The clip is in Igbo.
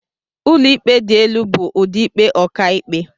Ụlọikpe dị elu bụ ụdị ikpe ọkàikpe..